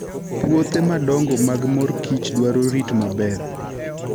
Puothe madongo mag mor kich dwaro rit maber.